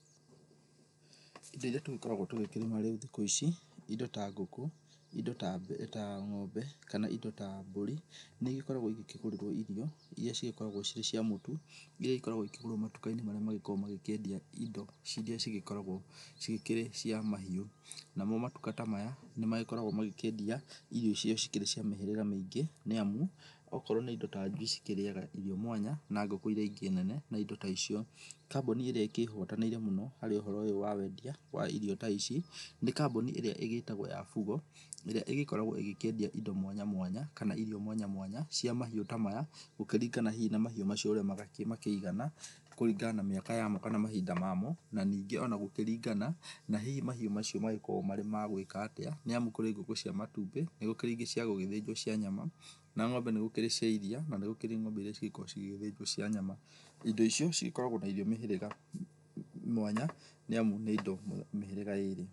Indo iria tũgĩkoragwo tũgĩkĩrĩma rĩu thikũ ici, indo ta ngũkũ, indo ta ng'ombe, kana indo ta mbũri, nĩigĩkoragwo igĩkĩgũrĩrwo irio iria cigĩkoragwo cirĩ cia mũtu, iria igĩkoragwo ikĩgurwo matuka-inĩ marĩa magĩkoragwo magĩkĩendia indo iria cigĩkoragwo cikĩrĩ cia mahiũ. Namo matuka ta maya nĩmagĩkoragwo magĩkĩendia irio iria cikĩrĩ cia mĩhĩrĩga mĩingĩ nĩ amu, okorwo nĩ indo ta njui cikĩrĩaga irio mwanya na ngũkũ iria ingĩ nene na indo ta icio. Kambuni ĩrĩa ĩkĩhotanĩire mũno harĩ ũhoro ũyũ wa wendia wa irio ta ici, nĩ kambuni ĩrĩa ĩgĩtagwo ya Fugo, ĩrĩa ĩgĩkorgwo ĩgĩkĩendia indo mwanya mwanya kana irio mwanya mwanya cia mahiũ ta maya gũkĩringana hihi na mahíiũ macio ũrĩa makĩigana kũringana na mĩaka yamo kana mahinda mamo, na ningĩ ona gũkĩringana na hihi mahiũ macio magĩkoragũo marĩ ma gwĩka atĩa. Nĩ amu kũrĩ ngũkũ cia matumbĩ, nĩgũkĩrĩ ingĩ cia gũgĩthĩnjwo cia nyama, na ng'ombe nĩgũkĩrĩ cia iria na nĩ kurĩ ng'ombe iria cigĩkoragwo cigĩthĩnjwo cia nyama. Indo icio cigĩkoragwo na irio mĩhĩrĩga mwanya, nĩ amu nĩ indo mĩhĩrĩga ĩrĩ.